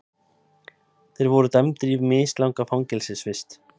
Þeir voru dæmdir í mislanga fangelsisvist